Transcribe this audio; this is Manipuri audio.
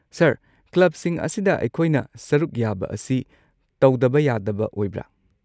ꯁꯔ, ꯀ꯭ꯂꯕꯁꯤꯡ ꯑꯁꯤꯗ ꯑꯩꯈꯣꯏꯅ ꯁꯔꯨꯛ ꯌꯥꯕ ꯑꯁꯤ ꯇꯧꯗꯕ ꯌꯥꯗꯕ ꯑꯣꯏꯕ꯭ꯔ?